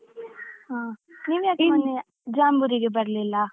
ಹಾ ನೀವ್ ಯಾಕ್ ಮೊನ್ನೆ ಜಾಂಬೂರಿಗೆ ಬರ್ಲಿಲ್ಲ?